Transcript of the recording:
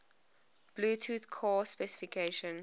bluetooth core specification